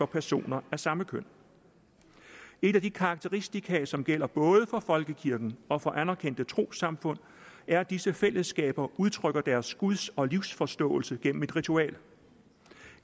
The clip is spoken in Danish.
personer af samme køn et af de karakteristika som gælder både for folkekirken og for anerkendte trossamfund er at disse fællesskaber udtrykker deres guds og livsforståelse gennem et ritual